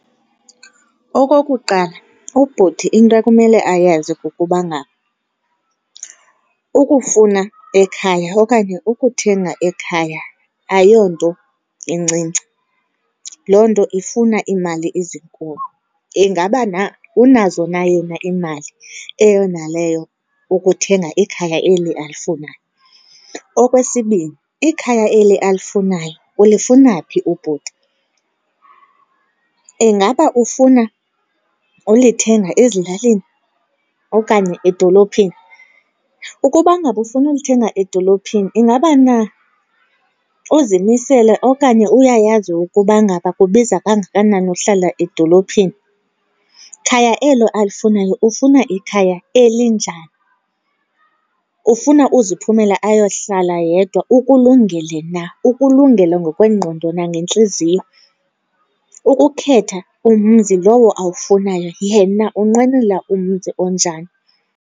Okokuqala, ubhuti into akumele ayazi kukuba ngaba ukufuna ekhaya okanye ukuthenga ekhaya ayonto incinci, loo nto ifuna iimali ezinkulu. Ingaba na unazo na yena iimali eyona leyo ukuthenga ikhaya eli alifunayo? Okwesibini, ikhaya eli alifunayo ulifuna phi ubhuti? ingaba ufuna ulithenga ezilalini okanye edolophini? Ukuba ngaba ufuna ulithenga edolophini ingaba na uzimisele okanye uyayazi ukuba ngaba kubiza kangakanani uhlala edolophini? Khaya elo alifunayo ufuna ikhaya elinjani? Ufuna uziphumela ayohlala yedw,a ukulungele na ukulungele ngokwengqondo nangentliziyo? Ukukhetha umzi lowo awufunayo, yena unqwenela umzi onjani?